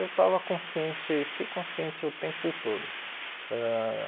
Eu estava consciente, fiquei consciente o tempo todo ãh.